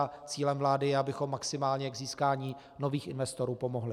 A cílem vlády je, abychom maximálně k získání nových investorů pomohli.